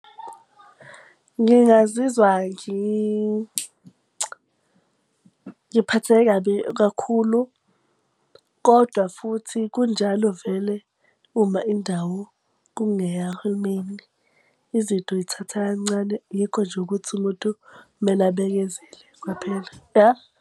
Ngingazizwa ngiphatheke kabi kakhulu. Kodwa futhi kunjalo vele, uma indawo kungeyahulumeni. Izinto yithatha kancane, yikho nje ukuthi umuntu kumele abekezele kwaphela, ya.